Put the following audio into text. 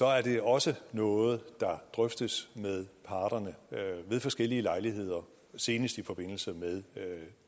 er det også noget der drøftes med parterne ved forskellige lejligheder senest i forbindelse med